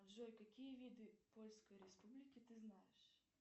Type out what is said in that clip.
джой какие виды польской республики ты знаешь